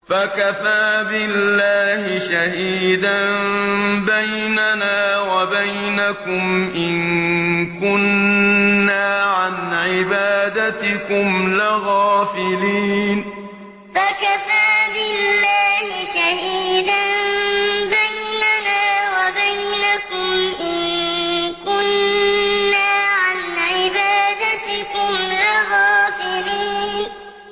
فَكَفَىٰ بِاللَّهِ شَهِيدًا بَيْنَنَا وَبَيْنَكُمْ إِن كُنَّا عَنْ عِبَادَتِكُمْ لَغَافِلِينَ فَكَفَىٰ بِاللَّهِ شَهِيدًا بَيْنَنَا وَبَيْنَكُمْ إِن كُنَّا عَنْ عِبَادَتِكُمْ لَغَافِلِينَ